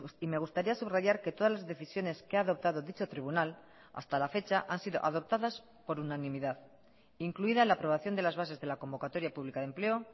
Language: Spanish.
y me gustaría subrayar que todas las decisiones que ha adoptado dicho tribunal hasta la fecha han sido adoptadas por unanimidad incluida la aprobación de las bases de la convocatoria pública de empleo